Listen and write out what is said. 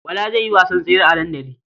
Bala zai yi wasan tsere a dandali.